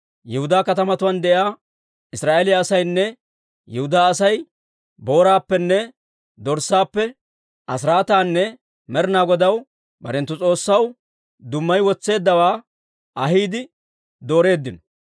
Yihudaa katamatuwaan de'iyaa Israa'eeliyaa asaynne Yihudaa Asay booraappenne dorssaappe asiraataanne Med'inaa Godaw, barenttu S'oossaw, dummayi wotseeddawaa ahiide dooreeddino.